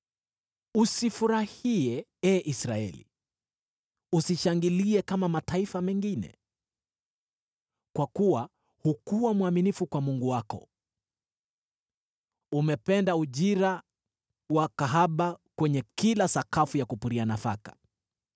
Usifurahie, ee Israeli; usishangilie kama mataifa mengine. Kwa kuwa hukuwa mwaminifu kwa Mungu wako; umependa ujira wa kahaba kwenye kila sakafu ya kupuria nafaka.